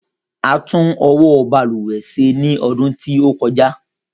A tún ọwọ́ balùwẹ̀ ṣe ní ọdún tí ó kọjá.